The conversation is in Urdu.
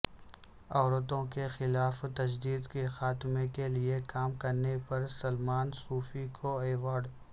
عورتوں کے خلاف تشدد کے خاتمے کے لیے کام کرنے پر سلمان صوفی کو ایوارڈ